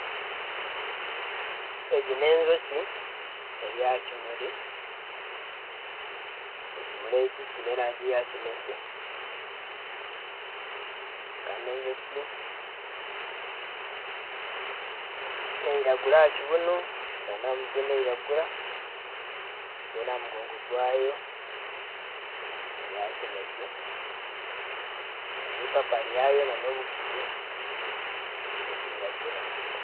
Egi n'enjoki eri aha kimuri, ekimuri eki kyine erangi ya kinekye kandi enjoki neyiragura aha kibunu na aha mutwe neyiragura reeru aha mugongo gwayo neya kinekye impapa ryayo n'obuguru nibiragura.